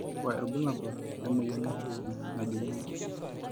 kakua irbulabol lenamoyian osesen najung'uni.